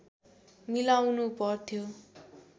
मिलाउनु पर्थ्यो